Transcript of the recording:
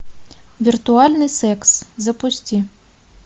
виртуальный секс запусти